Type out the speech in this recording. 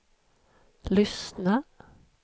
lyssna